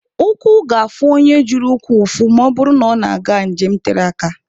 Ụkwụ ga-afụ onye ji ụkwụ ụfụ ma ọ bụrụ na ọ na-aga njem tere aka.